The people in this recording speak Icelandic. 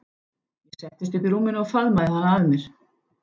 Ég settist upp í rúminu og faðmaði hana að mér.